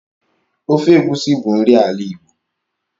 Ofe Egusi bụ nri ala Igbo.